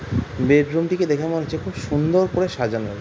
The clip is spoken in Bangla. বেড রুম টিকে দেখে মনে হচ্ছে খুব সুন্দর করে সাজানো।